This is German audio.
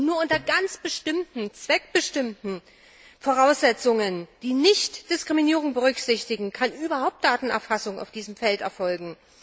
Und nur unter ganz bestimmten zweckbestimmten Voraussetzungen, die Nichtdiskriminierung berücksichtigen, kann überhaupt Datenerfassung auf diesem Feld erfolgen.